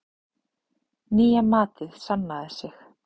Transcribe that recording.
Nýja matið sannaði sig.